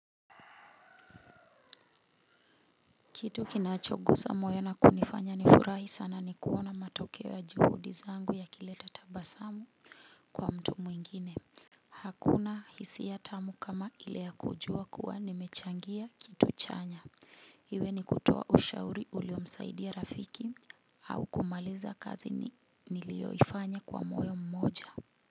Kitu kinachogusa moyo na kunifanya nifurahi sana ni kuona matokeo ya juhudi zangu yakileta tabasamu kwa mtu mwingine. Hakuna hisia tamu kama ile ya kujua kuwa nimechangia kitu chanya. Iwe ni kutoa ushauri uliomsaidia rafiki au kumaliza kazi nilioifanya kwa moyo mmoja.